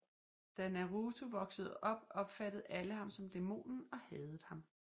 Da Naruto voksede op opfattede alle ham som dæmonen og hadede ham